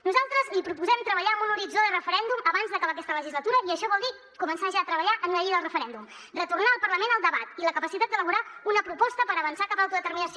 nosaltres li proposem treballar amb un horitzó de referèndum abans d’acabar aquesta legislatura i això vol dir començar ja a treballar en una llei del referèndum retornar al parlament el debat i la capacitat d’elaborar una proposta per avançar cap a l’autodeterminació